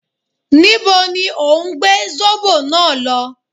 Níbo ni òhún gbé Zóbò náà lọ?